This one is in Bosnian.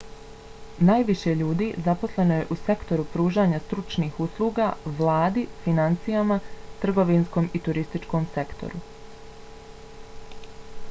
najviše ljudi zaposleno je u sektoru pružanja stručnih usluga vladi finansijama trgovinskom i turističkom sektoru